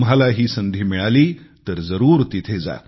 तुम्हालाही संधी मिळाली तर जरूर तिथे जा